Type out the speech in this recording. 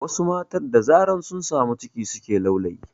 Wasu matan da zarar sun samu ciki suke laulayi